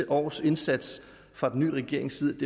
års indsats fra den nye regerings side